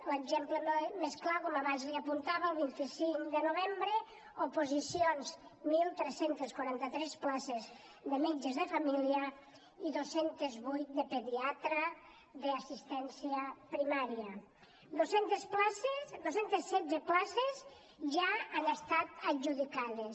l’exemple més clar com abans li apuntava el vint cinc de novembre oposicions tretze quaranta tres places de metges de família i dos cents i vuit de pediatre d’assistència primària dos cents i setze places ja han estat adjudicades